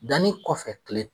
Danni kɔfɛ tile